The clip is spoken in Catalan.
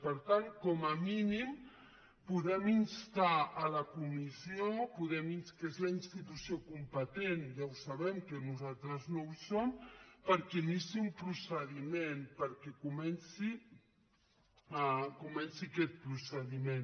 per tant com a mínim podem instar la comissió que és la institució competent ja ho sabem que nosaltres no ho som perquè iniciï un procediment perquè comenci aquest procediment